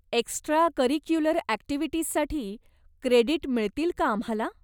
Extracurricular ॲक्टिव्हिटीजसाठी credit मिळतील का आम्हाला?